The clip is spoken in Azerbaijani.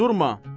Durma!